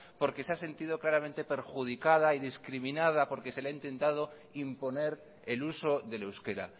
porque se ha sentido claramente perjudicada y discriminada porque se le ha intentado imponer el uso del euskera